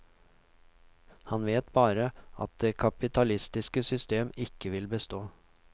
Han vet bare at det kapitalistiske system ikke vil bestå.